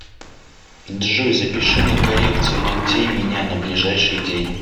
джой запиши на коррекцию ногтей меня на ближайший день